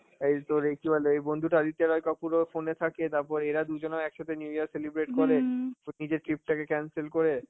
এই তোর এই কি বলে এই বন্ধুটা আদিত্য রয় কাপুর ও phone এ থাকে, তারপরে এরা দুজনে ও একসাথে new year celebrate করে, নিজের trip টাকে cancel করে